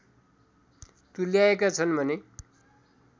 तुल्याएका छन् भने